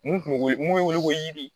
Mun kun be wele mun be wele ko jiri